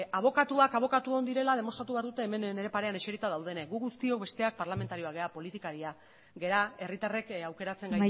abokatuak abokatu on direla demostratu behar dute hemen nire parean eserita daudenek gu guztiok besteak parlamentarioak gara politikariak gara herritarrek aukeratzen